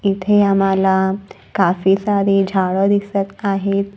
इथे आम्हाला काफी सारी झाडं दिसत आहेत.